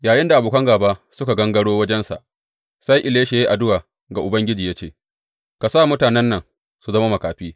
Yayinda abokan gāba suka gangaro wajensa, sai Elisha ya yi addu’a ga Ubangiji ya ce, Ka sa mutanen nan su zama makafi.